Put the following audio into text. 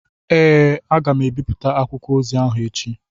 Ee, m ga-ebipụta akwụkwọ ozi ahụ echi.